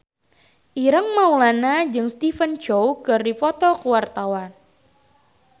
Ireng Maulana jeung Stephen Chow keur dipoto ku wartawan